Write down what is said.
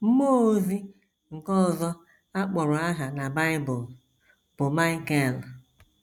Mmụọ ozi nke ọzọ a kpọrọ aha na Bible bụ Maịkel.